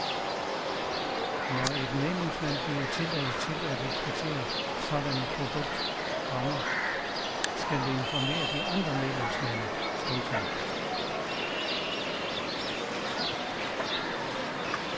Når et medlemsland giver tilladelse til at eksportere sådan et produkt, komma skal det informere de andre medlemslande. punktum